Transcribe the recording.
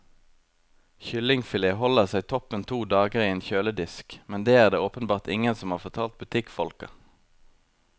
Kyllingfilet holder seg toppen to dager i en kjøledisk, men det er det åpenbart ingen som har fortalt butikkfolka.